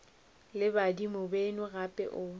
le badimo beno gape o